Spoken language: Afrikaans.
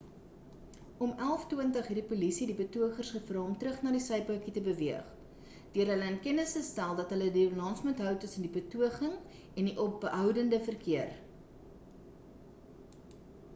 om 11:20 het die polisie die betogers gevra om terug na die sypaadjie te beweeg deur hulle in kennis te stel dat hulle die balans moet hou tussen die betoging en die opbounde verkeer